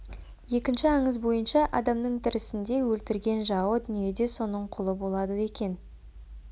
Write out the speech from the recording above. екінші аңыз бойынша адамның тірісінде өлтірген жауы дүниеде соның құлы болады екен